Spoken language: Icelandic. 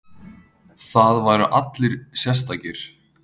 Það væru allir sérstakir.